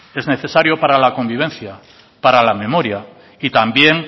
es necesario para la convivencia para la memoria y también